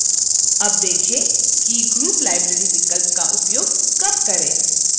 अब देखें कि group library विकल्प का उपयोग कब करें